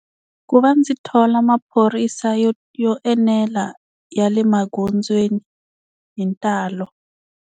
Ku va ndzi thola maphorisa yo yo enela ya le magondzweni hi ntalo.